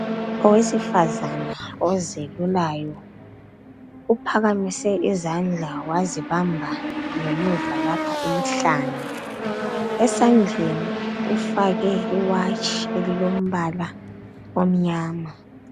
Owesifazana ozelulayo, uphakamise izandla wazibamba ngemuva lapha emhlane. Esandleni ufake i"watch" elilombala omnyama.